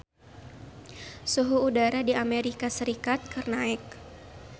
Suhu udara di Amerika Serikat keur naek